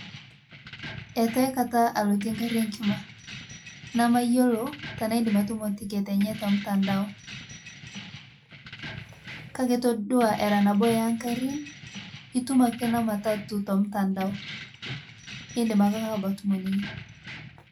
Etu aikata alotie nkari enkima namayoloo tanaidim atumoo ticket enye te mtandao kake itodua era naboo enkarin itum akee nematatuu te mtandao indim ake abaki atumoo ninye.